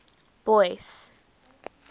boyce